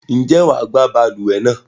Ǹjẹ́ wà á gbá balùwẹ̀ náà?